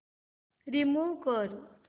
remove कर